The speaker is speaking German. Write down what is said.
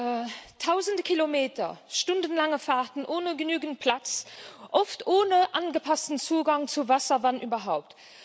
Herr Präsident! Tausende Kilometer, stundenlange Fahrten ohne genügend Platz, oft ohne angepassten Zugang zu Wasser wenn überhaupt